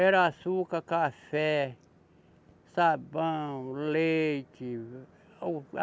Era açúcar, café, sabão, leite, ovo